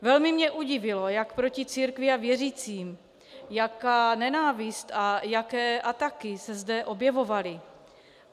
Velmi mě udivilo, jak proti církvi a věřícím, jaká nenávist a jaké ataky se zde objevovaly.